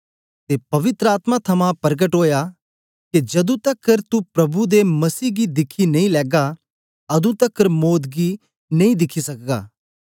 ते पवित्र आत्मा थमां परकट ओया के जदू तकर तू प्रभु दे मसीह गी दिखी नेई लैगा अदूं तकर मौत गी नेई दिखी सकदा